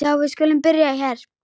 Já, við skulum byrja hér.